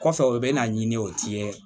Kɔfɛ u bɛ na ɲini o ti ye